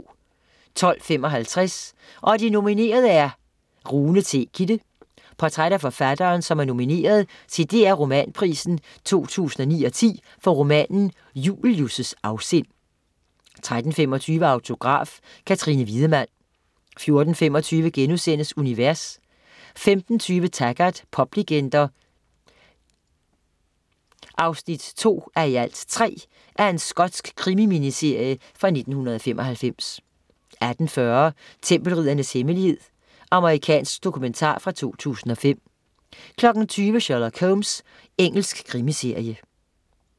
12.55 Og de nominerede er ... Rune T. Kidde. Portræt af forfatteren, som er nomineret til DR Romanprisen 2009/10 for romanen "Julius' afsind" 13.35 Autograf: Katrine Wiedemann 14.25 Univers* 15.20 Taggart: Poplegender 2:3 Skotsk krimi-miniserie fra 1995 18.40 Tempelriddernes hemmelighed. Amerikansk dokumentar fra 2005 20.00 Sherlock Holmes. Engelsk krimiserie